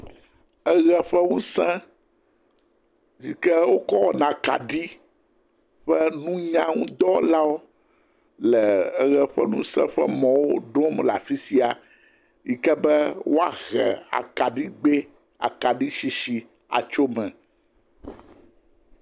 Eʋe ƒe ŋuse hike wokɔ wɔna kaɖi ƒe nunyaŋudɔwɔlawo le eʋe ƒe ŋuse ƒe mɔwo ɖɔm le afi sia yi ke be woahe akaɖigbe akaɖisisi atso me.